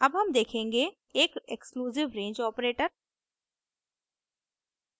अब हम देखेंगे एक exclusive range ऑपरेटर